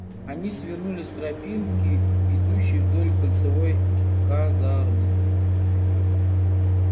они свернули с тропинки идущей вдоль кольцевой казармы